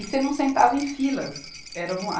E você não sentava em filas. Eram